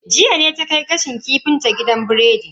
Jiya ne ta kai gashin kifin ta gidan biredi.